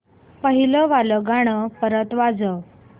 पहिलं वालं गाणं परत वाजव